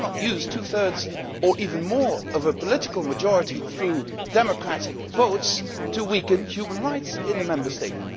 You cannot use two thirds or even more of a political majority through democratic votes to weaken human rights in a Member State.